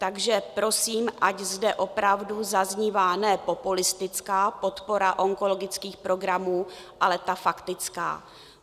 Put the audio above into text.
Takže prosím, ať zde opravdu zaznívá ne populistická podpora onkologických programů, ale ta faktická.